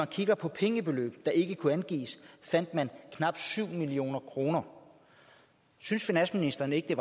kigger på pengebeløb der ikke kunne angives ser vi at man knap syv million kroner synes finansministeren ikke